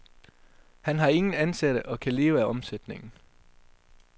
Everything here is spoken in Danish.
Han har ingen ansatte og kan leve af omsætningen.